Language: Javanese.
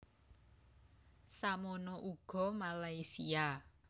Samono uga Malaysia